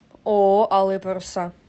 ооо алые паруса